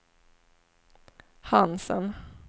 Hansen